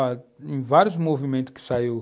em vários movimentos que saíram.